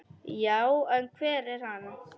Já, en hver er hann?